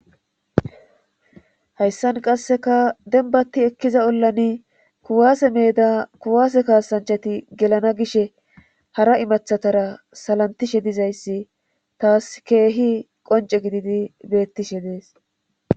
Hayssan qasseka denbatti ekkiza ollani kuwaase meeda kuwaase kaasanchati gelana gishe hara imathatara salantishe dizayssi taas keehi qonce gididi beettishe dees.